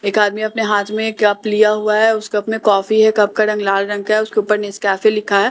एक आदमी अपने हाथ में एक कप लिया हुआ है उस कप में कॉफी है कप का रंग लाल रंग का है उसके ऊपर नेस्कैफे लिखा है --